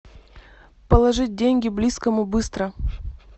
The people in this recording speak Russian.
положить деньги близкому быстро